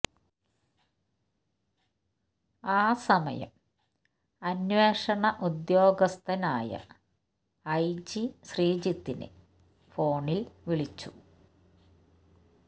ആ സമയം അന്വേഷണ ഉദ്യോഗസ്ഥൻ ആയ ഐ ജി ശ്രീജിത്തിനെ ഫോണിൽ വിളിച്ചു